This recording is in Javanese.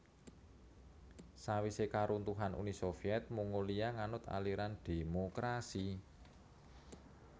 Sawisé karuntuhan Uni Soviet Mongolia nganut aliran dhémokrasi